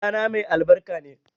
Ɗana mai albarka ne